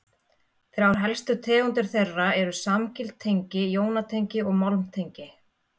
Þrjár helstu tegundir þeirra eru samgild tengi, jónatengi og málmtengi.